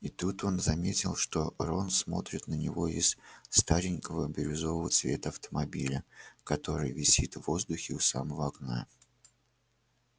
и тут он заметил что рон смотрит на него из старенького бирюзового цвета автомобиля который висит в воздухе у самого окна